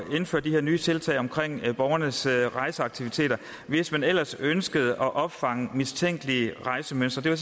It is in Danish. at indføre de her nye tiltag om borgernes rejseaktiviteter hvis man ellers ønskede at opfange mistænkelige rejsemønstre det var